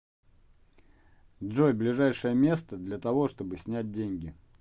джой ближайшее место для того чтобы снять деньги